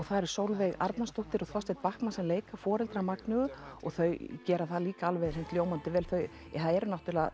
það eru Sólveig Arnarsdóttir og Þorsteinn Bachman sem leika foreldra Magneu og þau gera það líka alveg hreint ljómandi vel það eru náttúrulega